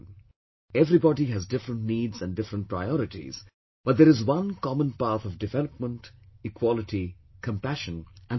Everybody has different needs and different priorities but there is one common path of development, equality, compassion and fraternity